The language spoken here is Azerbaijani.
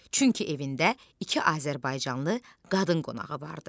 Çünki evində iki azərbaycanlı qadın qonağı vardı.